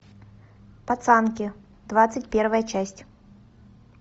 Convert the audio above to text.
пацанки двадцать первая часть